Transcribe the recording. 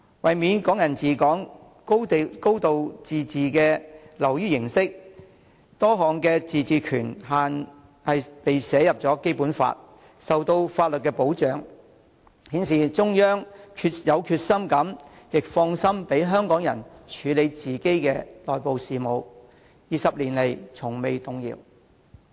為免"港人治港"、"高度自治"流於形式化，多項自治權限被寫入《基本法》，受到法律保障，顯示中央有決心亦放心讓香港人處理自己的內部事務 ，20 年來從未動搖。